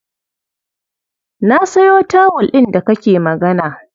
Na sayo tawul ɗin da kake magana.